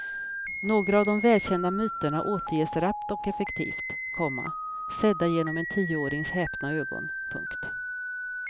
Några av de välkända myterna återges rappt och effektivt, komma sedda genom en tioårings häpna ögon. punkt